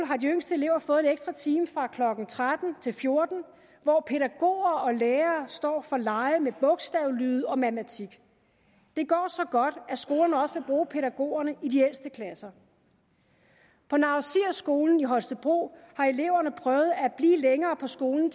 har de yngste elever fået en ekstra time fra klokken tretten til fjorten hvor pædagoger og lærere står for lege med bogstavlyde og matematik det går så godt at skolen også bruge pædagogerne i de ældste klasser på naur sir skole i holstebro har eleverne prøvet at blive længere på skolen